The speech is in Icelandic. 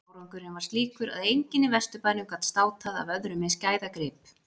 Árangurinn var slíkur að enginn í Vesturbænum gat státað af öðrum eins gæðagrip.